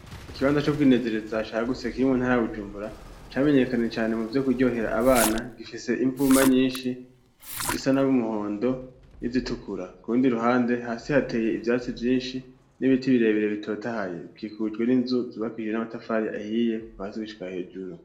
Ikibanza co kwinezereza cagutse kiri mu ntara ya Bujumbura, camenyekanye cane mu vyo kuryohera abana, gifise imvuma nyinshi zisa num'umuhondo, n'izitukura, ku rundi ruhande hasi hateye ivyatsi vyinshi n'ibiti birebere bitotahaye, bikikujwe n'inzu zubakakishijwe n'amatafari ahiye kuva hasi gishika hejuru.